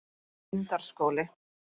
Lundarskóli